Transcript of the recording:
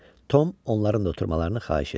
Tom onların da oturmalarını xahiş etdi.